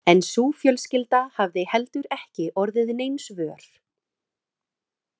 En sú fjölskylda hafði heldur ekki orðið neins vör.